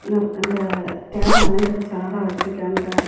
இந்த தேர அலங்கரிச்சு அழகா வச்சிருக்கியாங்க.